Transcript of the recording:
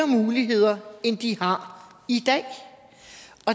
muligheder end de har i dag